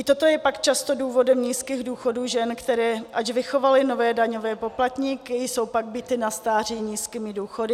I toto je pak často důvodem nízkých důchodů žen, které, ač vychovaly nové daňové poplatníky, jsou pak bity na stáří nízkými důchody.